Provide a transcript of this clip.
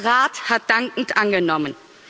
Der Rat hat dankend angenommen.